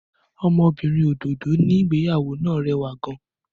Ọmọbìnrin òdòdó níbi ìgbéyàwó náà rẹwà gan-an.